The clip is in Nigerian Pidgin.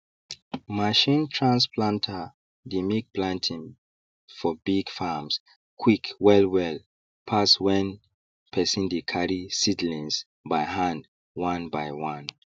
machine trans planter dey make planting for big farms quick wellwell pass when person dey carry seedlings by hand one by one